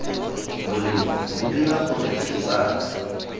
bolelo bo dira gore kgetsana